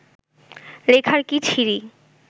লেখার কী ছিরি